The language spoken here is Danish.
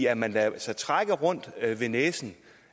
at man lader sig trække rundt ved næsen